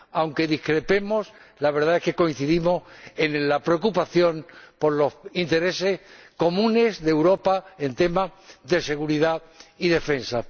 Aunque discrepemos, la verdad es que coincidimos en la preocupación por los intereses comunes de Europa en temas de seguridad y defensa.